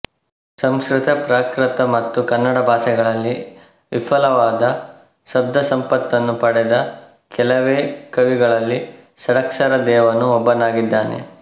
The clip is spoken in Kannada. ಸಂಸ್ಕೃತ ಪ್ರಾಕೃತ ಮತ್ತು ಕನ್ನಡ ಭಾಷೆಗಳಲ್ಲಿ ವಿಫುಲವಾದ ಶಬ್ದಸಂಪತ್ತನ್ನು ಪಡೆದ ಕೆಲವೇ ಕವಿಗಳಲ್ಲಿ ಷಡಕ್ಷರದೇವನು ಒಬ್ಬನಾಗಿದ್ದಾನೆ